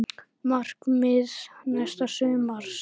Markmið næsta sumars?